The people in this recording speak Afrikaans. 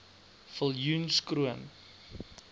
viljoenskroon